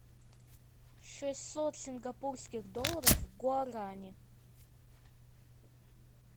шестьсот сингапурских долларов в гуарани